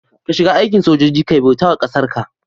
ka shiga aikin sojoji Kai bautawa kasarka